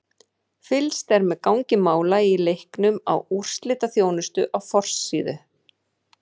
Fylgst er með gangi mála í leiknum í úrslitaþjónustu á forsíðu.